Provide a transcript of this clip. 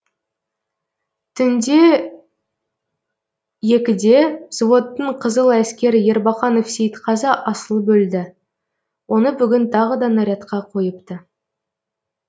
түнде екіде взводтың қызыләскері ербақанов сейітқазы асылып өлді оны бүгін тағы да нарядқа қойыпты